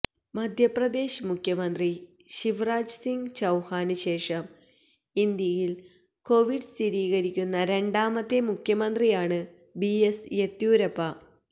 മധ്യപ്രദേശ് മുഖ്യമന്ത്രി ശിവ്രാജ് സിംഗ് ചൌഹാന് ശേഷം ഇന്ത്യയില് കൊവിഡ് സ്ഥിരീകരിക്കുന്ന രണ്ടാമത്തെ മുഖ്യമന്ത്രിയാണ് ബി എസ് യെദ്യൂരപ്പ